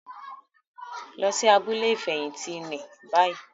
Lọ sí abúlé ifẹhinti ní bayii!